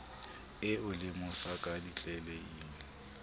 e o lemosa ka ditleleime